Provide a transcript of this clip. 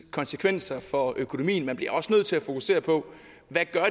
konsekvenser for økonomien man bliver også nødt til at fokusere på hvad